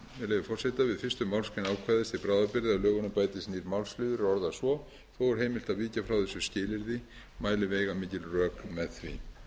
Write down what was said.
leyfi forseta við fyrstu málsgrein ákvæðis til bráðabirgða í lögunum bætist nýr málsliður er orðast svo þó er heimilt að víkja frá þessu skilyrði mæli veigamikil rök með því